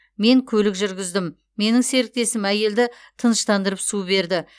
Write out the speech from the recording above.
мен көлік жүргіздім менің серіктесім әйелді тыныштандырып су берді